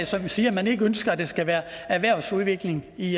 som siger at man ikke ønsker at der skal være erhvervsudvikling i